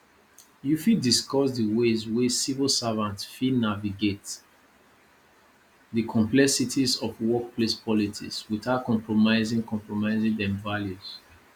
you fit discuss di ways wey civil servants fit naviagate di complexities of workplace politics without compromising compromising dem values